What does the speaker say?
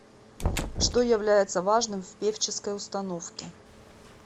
что является важным в певческой установке